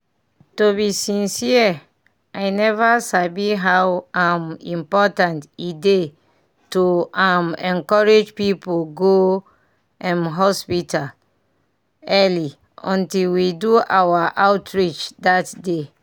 to be sincere i never sabi how um important e dey to um encourage people go um hospital hospital early until we do our outreach that day.